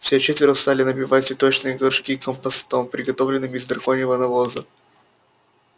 все четверо стали набивать цветочные горшки компостом приготовленным из драконьего навоза